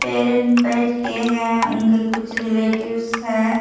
Parent बैठ के हैं उनके कुछ रिलेटिव्स है।